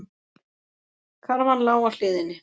Karfan lá á hliðinni.